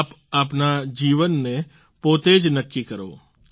આપ આપના જીવનને પોતે જ નક્કી કરો